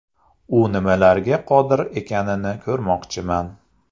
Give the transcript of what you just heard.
U nimalarga qodir ekanini ko‘rmoqchiman.